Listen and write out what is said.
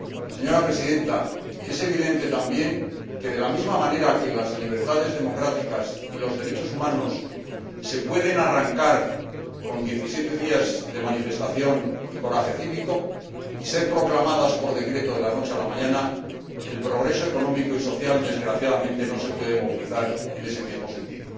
Señora Presidenta, es evidente también que, si bien las libertades democráticas y los derechos humanos se pueden arrancar con diecisiete días de manifestación y coraje cívico, y ser proclamadas por decreto de la noche a la mañana, el progreso económico y social desgraciadamente no se puede movilizar de la misma manera.